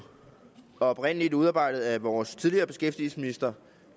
oprindeligt udarbejdet af vores tidligere beskæftigelsesminister